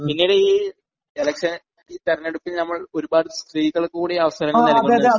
പിന്നീട് ഈ ഇലക്ഷന് ഈ തിരഞ്ഞെടുപ്പിൽ ഒരുപാട് സ്ത്രീകൾക്ക് കൂടി അവസരം നൽകണം നുണ്ട് സാർ..